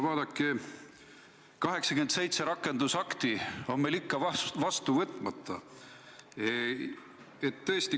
Vaadake, 87 rakendusakti on meil ikka vastu võtmata.